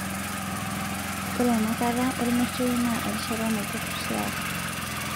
Ore enakata ormeitai na erishata naiturrurie ate